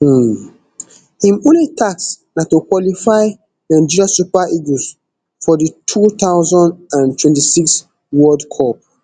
um im only task na to qualify nigeria super eagles for di two thousand and twenty-six world cup